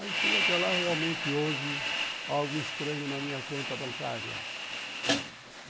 Aí fui até lá e realmente houve algo estranho na minha conta bancária.